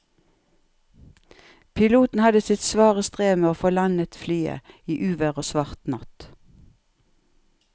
Piloten hadde sitt svare strev med å få landet flyet i uvær og svart natt.